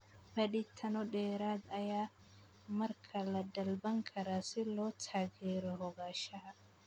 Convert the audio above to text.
Baadhitaano dheeraad ah ayaa markaa la dalban karaa si loo taageero ogaanshaha.